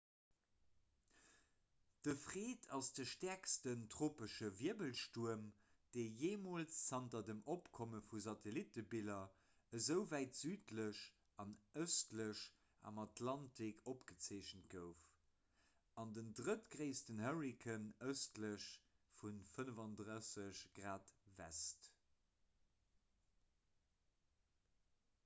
de fred ass de stäerksten tropesche wirbelstuerm dee jeemools zanter dem opkomme vu satellittebiller esou wäit südlech an ëstlech am atlantik opgezeechent gouf an den drëttgréissten hurrikan ëstlech vu 35 °w